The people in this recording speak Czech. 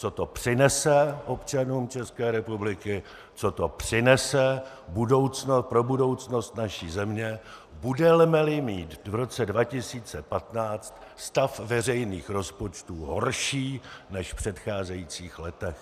Co to přinese občanům České republiky, co to přinese pro budoucnost naší země, budeme-li mít v roce 2015 stav veřejných rozpočtů horší než v předcházejících letech?